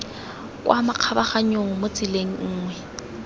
kwa makgabaganyong mo tseleng nngwe